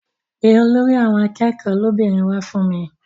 Pe olórí àwọn akẹ́kọ̀ọ́ lóbìnrin wá fún mi.